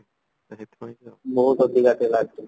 ବହୁତ ଅଧିକ ଥିଲା actually